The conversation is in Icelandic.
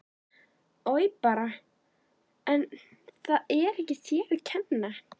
Oj bara en það er ekki þér að kenna